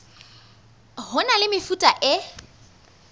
ho na le mefuta e